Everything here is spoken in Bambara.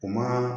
U ma